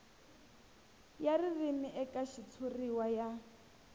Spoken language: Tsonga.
ya ririmi eka xitshuriwa ya